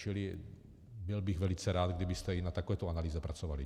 Čili byl bych velice rád, kdybyste i na takovéto analýze pracovali.